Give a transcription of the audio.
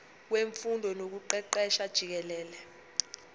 wemfundo nokuqeqesha jikelele